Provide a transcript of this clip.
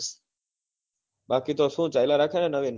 બાકી તો શું ચાલ્યા રાખે ને નવીન?